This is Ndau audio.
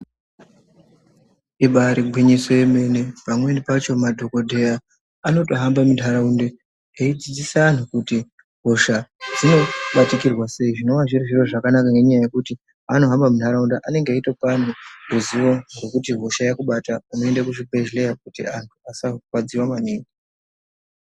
Ibaari gwiyiso yemene pamweni pacho madhokodheya anotohambe muntharunda eidzidzose anthu kuti hosha dzinobatikirwa sei zvinova zviri zviro zvakanaka ngenyaya yekuti paanohamba muntharaunda anenge eitopa anthu ruzivo rwekuti hosha yaakubata unoende kuchibhedhleya kuti anthu asarwadziwa maningi.